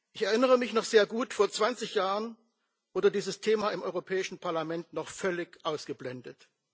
Ich erinnere mich noch sehr gut Vor 20 Jahren wurde dieses Thema im Europäischen Parlament noch völlig ausgeblendet.